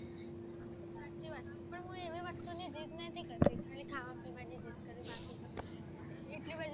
actually ખાવા પીવાની જીદ કરી બાકી એટલી બધી